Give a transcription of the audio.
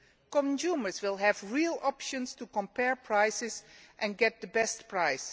Consumers will have real options to compare prices and get the best price.